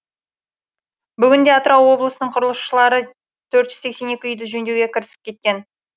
бүгінде атырау облысының құрылысшылары төрт жүз сексен екі үйді жөндеуге кірісіп кетті